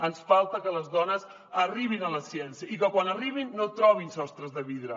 ens falta que les dones arribin a la ciència i que quan hi arribin no trobin sostres de vidre